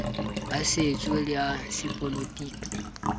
a setso le a sepolotiki